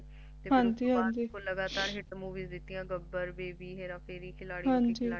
ਇਸ ਤੋਂ ਬਾਅਦ ਇਹਨਾ ਨੇ ਲਗਾਤਾਰ Hit Movies ਦਿੱਤੀਆਂ ਗਬਰ Baby ਹੇਰਾਫੇਰੀ ਖਿਲਾੜੀ